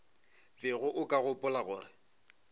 bego o ka gopola gore